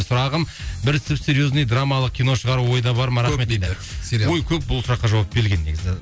сұрағым бір сіп серьзный драмалық кино шығару ойда бар ма рахмет дейді ой көп бұл сұраққа жауап берген негізі